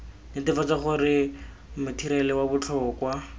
netefatsa gore matheriale wa botlhokwa